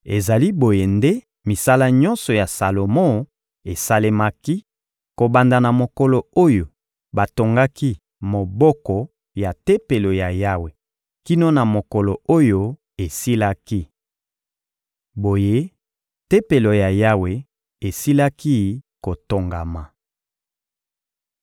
Ezali boye nde misala nyonso ya Salomo esalemaki, kobanda na mokolo oyo batongaki moboko ya Tempelo ya Yawe kino na mokolo oyo esilaki. Boye, Tempelo ya Yawe esilaki kotongama.